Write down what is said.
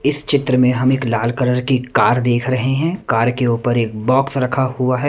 इस चित्र में हम एक लाल कलर की कार देख रहे हैं कार के ऊपर एक बॉक्स रखा हुआ है।